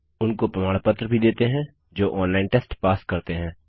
उनको प्रमाण पत्र भी देते हैं जो ऑनलाइन टेस्ट पास करते हैं